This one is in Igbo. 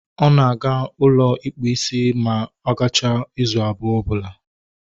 Ọ na-aga n'ụlọ ịkpụ isi ma ọ gachaa izu abụọ ọbụla